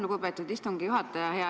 Lugupeetud istungi juhataja!